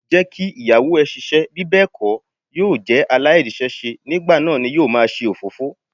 Jẹ́ kí Ìyàwó ẹ ṣiṣẹ́, bí bẹ́ẹ̀ kó yóò jẹ́ aláìríṣẹ́ṣe, nígbà náà ni yóò máa ṣe òfófó.